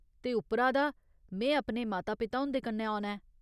ते उप्परा दा, में अपने माता पिता हुं'दे कन्नै औना ऐ।